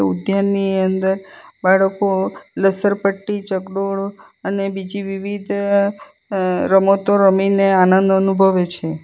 તેની અંદર બાળકો લસરપટ્ટી ચગડોળ અને બીજી વિવિધ અં રમતો રમીને આનંદ અનુભવે છે.